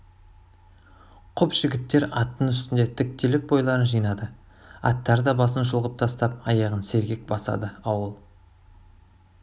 құп жігіттер аттың үстінде тіктеліп бойларын жинады аттар да басын шұлғып тастап аяғын сергек басады ауыл